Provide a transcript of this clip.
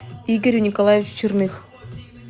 игорю николаевичу черных